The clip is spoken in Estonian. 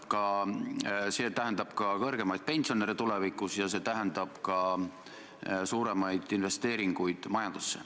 Kindlasti võtab Majandus- ja Kommunikatsiooniministeerium huvitatud osapooltega ühendust ja püüab leida võimaliku lahenduse.